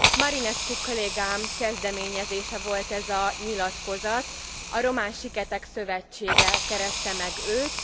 Marinescu kollégám kezdeményezése volt ez a nyilatkozat, a román siketek szövetsége kereste meg őt.